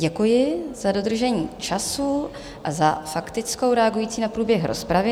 Děkuji za dodržení času a za faktickou reagující na průběh rozpravy.